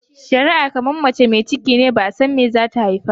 shari'a kamar mace mai cikine ba'a san me zata haifa ba.